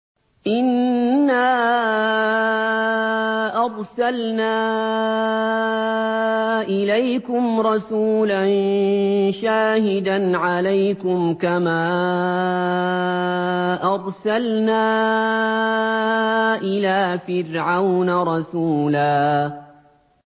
إِنَّا أَرْسَلْنَا إِلَيْكُمْ رَسُولًا شَاهِدًا عَلَيْكُمْ كَمَا أَرْسَلْنَا إِلَىٰ فِرْعَوْنَ رَسُولًا